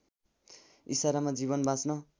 इसारामा जीवन बाँच्न